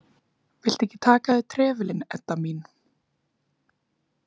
Viltu ekki taka af þér trefilinn, Edda mín?